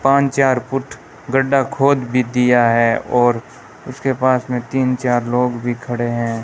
पांच चार फूट गड्ढा खोद भी दिया है और उसके पास में तीन चार लोग भी खड़े हैं।